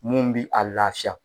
Mun bi a lafiya.